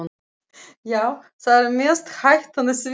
Já, það er mest hættan á því.